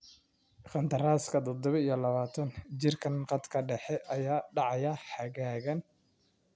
Qandaraaska tadabo iyo labatan jirkaan khadka dhexe ayaa dhacaya xagaagan.